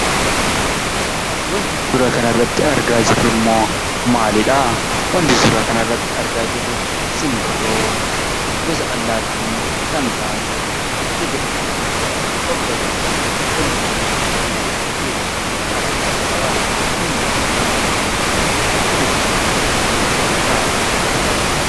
Wanti suura kanarratti argaa jirrummoo maalidhaa? wanti suuraa kanarratti argaa jirru simbirroo gosa allaattii kan taate xixiqqoo fi babbareedduu walitti gaggaragaltee teessu argaa jirraa. Simbirroon kun fuulashee walitti gara galshitee taa'aa kan jirtudhaa.